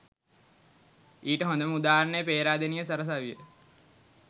ඊට හොඳම උදාහරණය පේරාදෙණිය සරසවිය